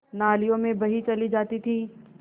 नालियों में बही चली जाती थी